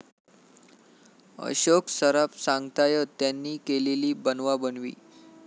अशोक सराफ सांगतायत त्यांनी केलेली 'बनवाबनवी'!